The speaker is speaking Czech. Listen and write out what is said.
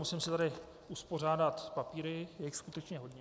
Musím si tady uspořádat papíry, je jich skutečně hodně.